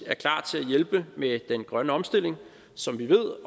at hjælpe med den grønne omstilling som vi ved